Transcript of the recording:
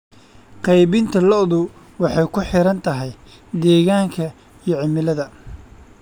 Qaybinta lo'du waxay ku xiran tahay deegaanka iyo cimilada.